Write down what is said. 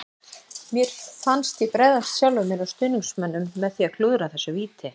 Mér fannst ég bregðast sjálfum mér og stuðningsmönnunum með því að klúðra þessu víti.